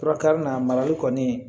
Fura karinna mariyali kɔni